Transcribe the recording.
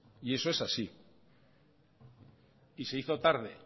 y eso es así y se hizo tarde